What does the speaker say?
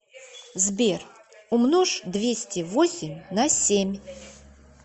сбер умножь двести восемь на семь